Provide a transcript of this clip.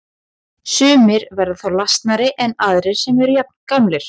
Sumir verða þá lasnari en aðrir sem eru jafngamlir.